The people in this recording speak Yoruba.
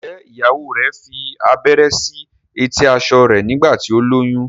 njé ìyàwó rẹ fí abẹrẹ sí eti aṣọ rẹ nígbà tí o lóyún?